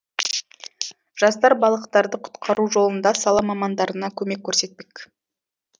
жастар балықтарды құтқару жолында сала мамандарына көмек көрсетпек